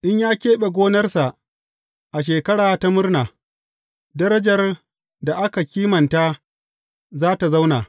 In ya keɓe gonarsa a Shekara ta Murna, darajar da aka kimanta za tă zauna.